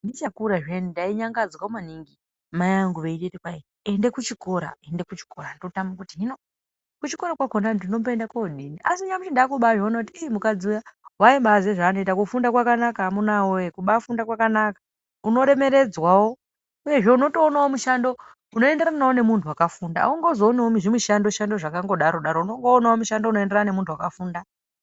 Ndicha kura zviyani ndai nyangadzwa maningi mai angu veinditi kwai ende ku chikora ende ku chikora ndotama kuti hino ku chikora kwakona ndinombo enda kodini asi nyamushi ndakubai ona kuti mukadzi uya ii waimbai ziye zva anoita kufunda kwanaka amuna we kubai funda kwakanaka uno remeredzwawo uyezve unotoona mushando uno enderanawo ne muntu waka funda auzongo oniwo zvi mushando shando zvakango daro daro onongo onawo mushando uno enderana ne muntu akafunda.